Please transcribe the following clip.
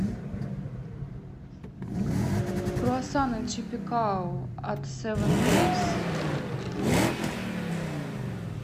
круассаны чипи као от севн дейс